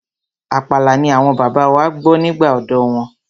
Àpàlà ni àwọn bàbá wa gbọ́ nígbà ọ̀dọ́ wọn.